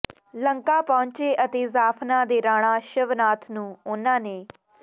ਲੰਕਾ ਪਹੰੁਚੇ ਅਤੇ ਜਾਫਨਾ ਦੇ ਰਾਣਾ ਸ਼ਿਵਨਾਥ ਨੂੰ ਉਨ੍ਹਾਂ ਨੇ